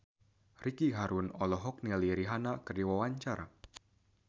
Ricky Harun olohok ningali Rihanna keur diwawancara